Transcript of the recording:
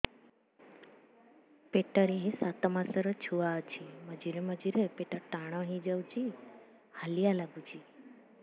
ପେଟ ରେ ସାତମାସର ଛୁଆ ଅଛି ମଝିରେ ମଝିରେ ପେଟ ଟାଣ ହେଇଯାଉଚି ହାଲିଆ ଲାଗୁଚି